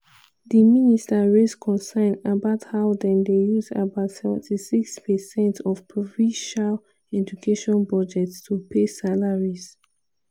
di minister raise concern about how dem dey use about 76 per cent of provincial education budgets to pay salaries.